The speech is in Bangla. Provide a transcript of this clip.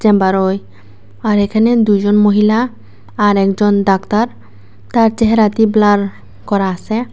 চেম্বার অয় আর এখানে দুইজন মহিলা আর একজন ডাক্তার তার চেহেরাটি ব্লার করা আসে।